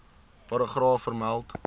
paragraaf vermeld